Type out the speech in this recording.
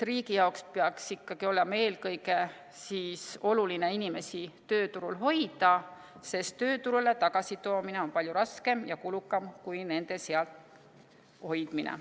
Riigi jaoks peaks eelkõige olema oluline inimesi tööturul hoida, sest tööturule tagasitoomine on palju raskem ja kulukam kui inimeste seal hoidmine.